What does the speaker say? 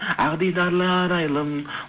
ақ дидарлы арайлым